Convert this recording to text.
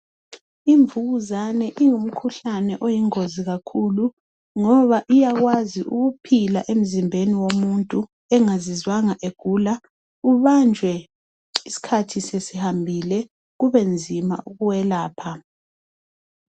Imvukuzane ingumkhuhlane oyingozi kakhulu, ngoba iyakwazi ukuphila emzimbeni womuntu engazizwanga egula. Ubanjwe isikhathi sesihambile, kube nzima ukuwelapha.